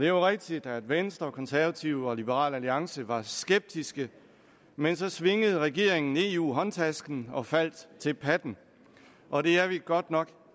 jo rigtigt at venstre konservative og liberal alliance var skeptiske men så svingede regeringen eu håndtasken og faldt til patten og det er vi godt nok